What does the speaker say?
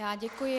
Já děkuji.